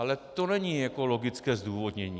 Ale to není logické zdůvodnění.